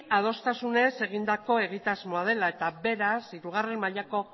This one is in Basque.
adostasunez egindako egitasmoa dela eta beraz hirugarren mailako